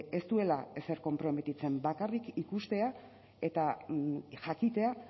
ez duela ezer konprometitzen bakarrik ikustea eta jakitea